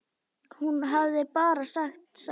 Hún hafði bara sagt satt.